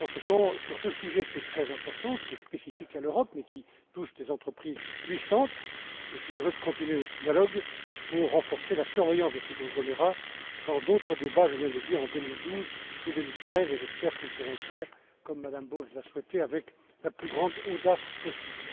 Par conséquent, sur ce sujet qui est très important, qui est spécifique à l'Europe, mais qui touche des entreprises puissantes, je suis heureux de continuer notre dialogue pour renforcer la surveillance de ces conglomérats dans d'autres débats, je viens de le dire, en 2012 et 2013, et j'espère que nous pourrons le faire, comme Mme Bowles l'a souhaité, avec la plus grande audace possible.